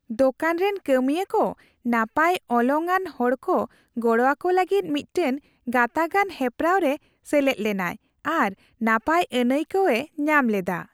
ᱫᱳᱠᱟᱱ ᱨᱮᱱ ᱠᱟᱹᱢᱤᱭᱟᱹ ᱠᱚ ᱱᱟᱯᱟᱭ ᱚᱞᱚᱝᱼᱟᱱ ᱦᱚᱲᱠᱚ ᱜᱚᱲᱚᱣᱟᱠᱚ ᱞᱟᱹᱜᱤᱫ ᱢᱤᱫᱴᱟᱝ ᱜᱟᱛᱟᱜᱼᱟᱱ ᱦᱮᱯᱨᱟᱣ ᱨᱮ ᱥᱮᱞᱮᱫ ᱞᱮᱱᱟᱭ ᱟᱨ ᱱᱟᱯᱟᱭ ᱟᱹᱱᱟᱹᱭᱠᱟᱹᱣᱮ ᱧᱟᱢ ᱞᱮᱫᱟ ᱾